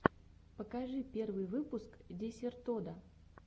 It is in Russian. покажи первый выпуск десертода